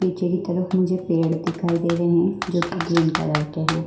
पीछे की तरफ मुझे पेड़ दिखाई दे रहे हैं जो कि ग्रीन कलर के हैं।